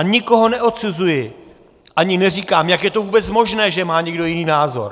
A nikoho neodsuzuji, ani neříkám: jak je to vůbec možné, že má někdo jiný názor?